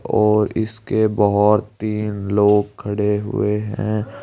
और इसके बहुत तीन लोग खड़े हुए हैं।